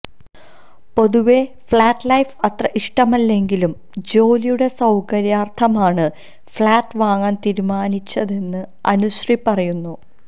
പൊതുവെ flat life അത്ര ഇഷ്ടമില്ലെങ്കിലും ജോലിയുടെ സൌകര്യാർത്ഥമാണ് ഫ്ളാറ്റ് വാങ്ങാൻ തീരുമാനിച്ചതെന്ന് അനുശ്രീ പറയുന്നു